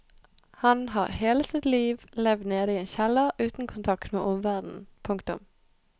Han har hele sitt liv levd nede i en kjeller uten kontakt med omverdenen. punktum